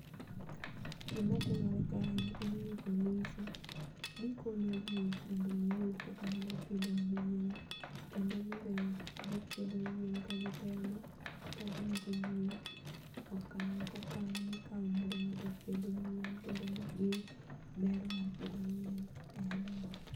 Gima timore kae en ni polise, gi konyo jii kaka nyalo pitho yien, kendo gibe ipitho yien ka gitemo gi nyiso jii okang' ko kang' mikao mondo ngato opith yien kendo gi ber mar pitho yien e aluora.